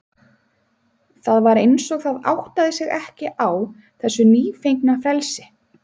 Það var eins og það áttaði sig ekki á þessu nýfengna frelsi.